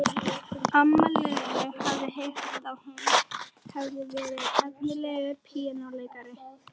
Amma Lillu hafði heyrt að hún hefði verið efnilegur píanóleikari.